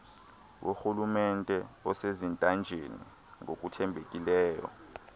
worhulumente osezintanjeni ngokuthembekileyo